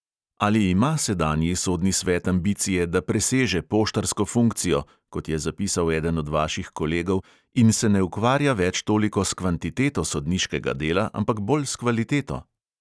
Ali ima sedanji sodni svet ambicije, da preseže poštarsko funkcijo, kot je zapisal eden od vaših kolegov, in se ne ukvarja več toliko s kvantiteto sodniškega dela, ampak bolj s kvaliteto?